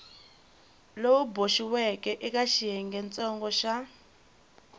lowu boxiweke eka xiyengentsongo xa